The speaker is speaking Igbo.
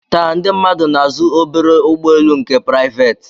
Taa ndị mmadụ na-azụ obere ụgbọelu nke praiveeti